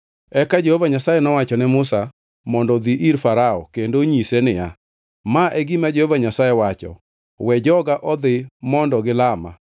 Eka Jehova Nyasaye nowacho ne Musa mondo odhi ir Farao kendo onyise niya, Ma e gima Jehova Nyasaye wacho: “We joga odhi mondo gilama.